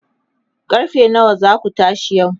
karfe nawa zaku tashi yau?